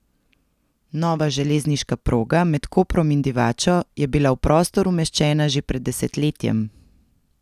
Nova železniška proga med Koprom in Divačo je bila v prostor umeščena že pred desetletjem.